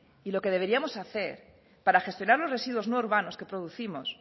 y lo que deberíamos hacer para gestionar los residuos no urbanos que producimos